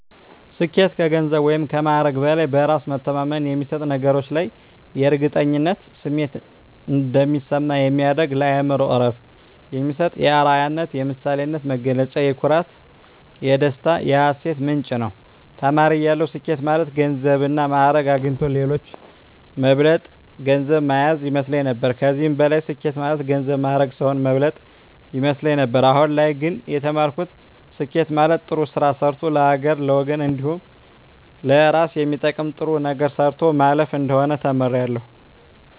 ስኬት ከገንዘብ ወይም ከማዕረግ በላይ በእራስ መተማመን የሚሰጥ በነገሮች ላይ የእርግጠኝነት ስሜት እንዲሰማ የሚያደርግ ለአእምሮ እረፍት የሚሰጥ የአረያነት የምሳሌነት መገለጫ የኩራት የደስታ የሀሴት ምንጭ ነዉ። ተማሪ እያለሁ ስኬት ማለት ገንዘብና ማእረግ አግኝቶ ሌሎችን መብለጥ ገንዘብ ማያዝ ይመስለኝ ነበር ከዚህም በላይ ስኬት ማለት ገንዘብ ማእረግ ሰዉን መብለጥ ይመስለኝ ነበር አሁን ላይ ግን የተማርኩት ስኬት ማለት ጥሩ ስራ ሰርቶ ለሀገርና ለወገን እንዲሁም ለእራስ የሚጠቅም ጥሩ ነገር ሰርቶ ማለፍ እንደሆነ ተምሬያለሁ።